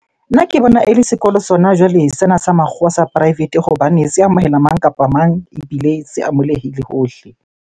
Nna ke bona ele sekolo sona jwale sena sa makgowa sa private hobane se amohela mang kapa mang ebile se hohle.